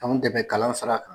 Anw de bɛ kalan sara kan.